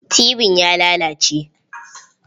Tibin ya lalace.